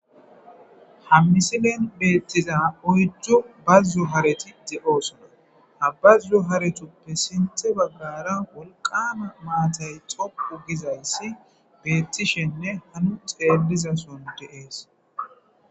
Ha mmisilen beettiza oyjju bazzu hareti de'oosona ha bazzu haretuppe sinthe baggara wolqama maatay xoqu gizayssi beettishenne hanu xeelliza son deees.